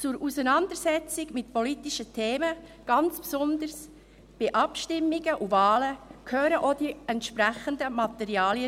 Zur Auseinandersetzung mit politischen Themen, ganz besonders bei Abstimmungen und Wahlen, gehören auch die entsprechenden Materialien.